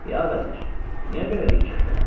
Ya vəzir, niyə belə bikefsən?